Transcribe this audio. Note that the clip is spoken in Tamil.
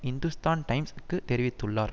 இந்துஸ்தான் டைம்ஸ் க்குத் தெரிவித்துள்ளார்